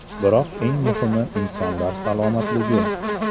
Biroq eng muhimi insonlar salomatligi.